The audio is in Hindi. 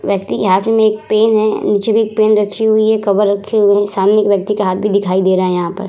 व्यक्ति के हाथ में एक पेन है नीचे भी एक पेन रखी हुई है कवर रखी हुई है सामने एक व्यक्ति का हाथ भी दिखाई दे रहा है यहाँ पर ।